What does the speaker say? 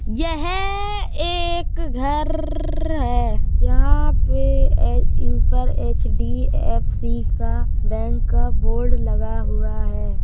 यह एक घरररर है। यहाँ पे ऊपर एच.डी.एफ.सी का बैंक का बोर्ड लगा हुआ है।